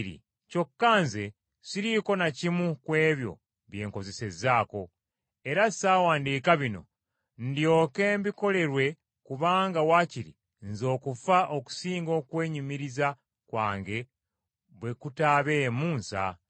Kyokka nze siriiko na kimu ku ebyo kye nkozesezzaako. Era ssawandiika bino ndyoke binkolerwe kubanga waakiri nze okufa okusinga okwenyumiriza kwange bwe kutaabeemu nsa.